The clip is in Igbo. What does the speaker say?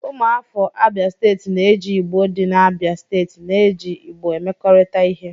Ụmụafọ Abia Steeti na-eji Igbo dị n'Abia steeti na-eji Igbo emekọrịta ihe.